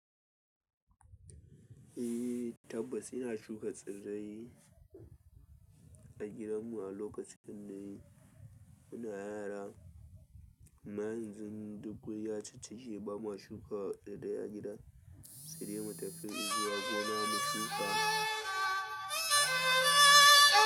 Tabas ina shuka tsirrai duk gidan mu a lokacin dai muna yara ama yanzu duk guri ya cicike ba ma shuka ɗai ɗai a gida, sai dai mu tafi zuwa gona mu shuka.